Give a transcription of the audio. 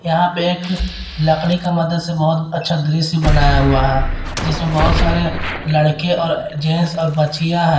यहां पे एक लकड़ी का मदद से बहोत अच्छा दृश्य बनाया हुआ है जिसमें बहोत सारे लड़के और जेंट्स और बच्चियां हैं।